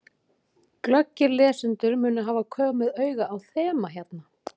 Glöggir lesendur munu hafa komið auga á þema hérna.